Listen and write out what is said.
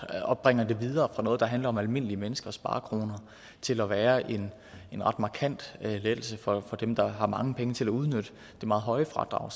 og bringer det videre fra noget der handler om almindelige menneskers sparekroner til at være en ret markant lettelse for dem der har mange penge til at udnytte det meget høje fradrag